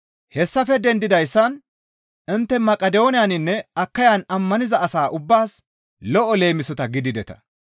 Hessafe dendidayssan intte Maqidooniyaninne Akayan ammaniza asa ubbaas lo7o leemisota gidideta.